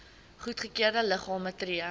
goedgekeurde liggame tree